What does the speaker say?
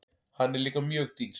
Hann er líka mjög dýr.